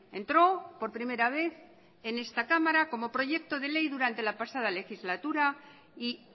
entró por primera vez en esta cámara como proyecto de ley durante la pasada legislatura y